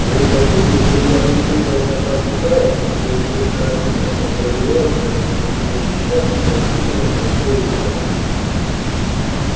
а вы хотите чтобы я прислушивался к краснобаям вроде доктора мида которые уверяют меня что мы защищаем справедливое и святое дело